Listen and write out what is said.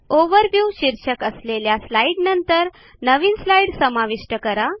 overview शीर्षक असलेल्या slide नंतर नवीन स्लाईड समाविष्ट करा